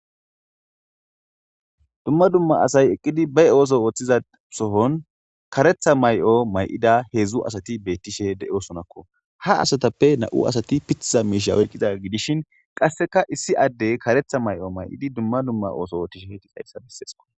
Dumma dumma asay eqqidi ba ooso wooththiza sohon karetha may'o may'ida heedzdzu asati beettishe de'osonakko ha asatappe na'u asati pithha miisha oyqqiza gidishin qasseka issi addey karetha may'o may'idi dumma dumma ooso woothtishe tixaysa besseesko.